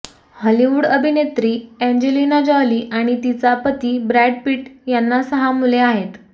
Hollywood अभिनेत्री Angelina Jolie आणि तिचा पती ब्रॅड पिट यांना सहा मुले आहेत